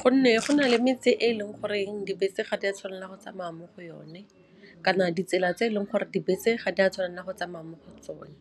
Gonne go na le metse e leng goreng dibese ga di a tshwanela go tsamaya mo go yone, kana ditsela tse e leng gore dibese ga di a tshwanela go tsamaya mo go tsone.